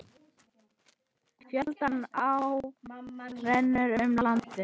Fjölda áa renna um landið.